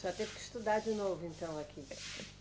A senhora teve que estudar de novo, então, aqui.